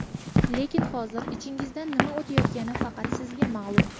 Lekin hozir ichingizdan nima o‘tayotgani faqat sizga ma’lum!